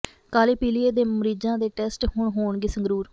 ਕਾਲੇ ਪੀਲੀਏ ਦੇ ਮਰੀਜ਼ਾਂ ਦੇ ਟੈਸਟ ਹੁਣ ਹੋਣਗੇ ਸੰਗਰੂਰ